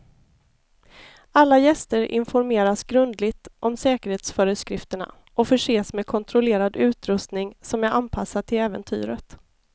Alla gäster informeras grundligt om säkerhetsföreskrifterna och förses med kontrollerad utrustning som är anpassad till äventyret.